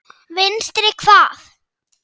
Vinstri hvað?